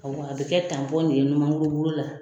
a bɛ kɛ de ye ɲumanŋuru bolo la.